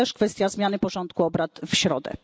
To jest też kwestia zmiany porządku obrad w środę.